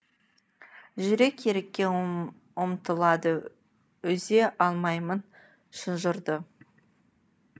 жүрек ерікке ұмтылады үзе алмаймын шынжырды